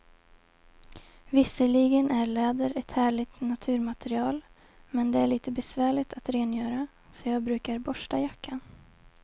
Visserligen är läder ett härligt naturmaterial, men det är lite besvärligt att rengöra, så jag brukar borsta jackan.